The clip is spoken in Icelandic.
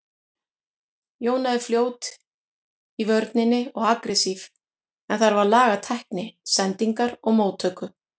Jóna er fljót í vörninni og agressív en þarf að laga tækni, sendingar og móttöku.